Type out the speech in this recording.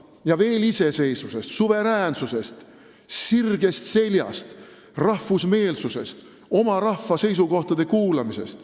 Ja nüüd veel solidaarsusest, iseseisvusest, suveräänsusest, sirgest seljast, rahvusmeelsusest, oma rahva seisukohtade kuulamisest.